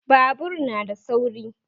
Babur na da sauri